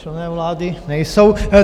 Členové vlády nejsou.